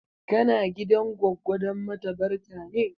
Kana gidan goggo don mata barka ne?